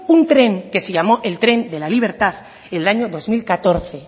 un tren que se llamó el tren de la libertad el año dos mil catorce